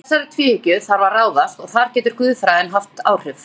Að þessari tvíhyggju þarf að ráðast og þar getur guðfræðin haft áhrif.